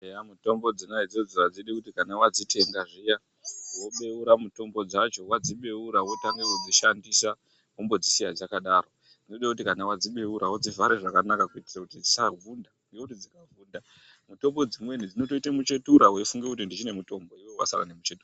Eya mitombo dzona idzodzo adziti kuti kana wadzitenga zviya wobeura mutombo dzacho wadzibeura wotange kudzishandisa wombodzisiya dzakadaro zvinode kuti kana wadzibeura wodzivhare zvakanaka kuitire kuti dzisavhunda ngekuti dzikavhunda mitombo dzimweni dzi otoite muchetura uchifunge kuti ndichine mutombo iwewe wasare nemuchetura.